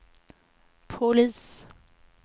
polis